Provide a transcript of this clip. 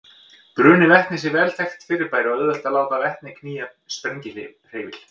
Bruni vetnis er vel þekkt fyrirbæri og auðvelt er að láta vetni knýja sprengihreyfil.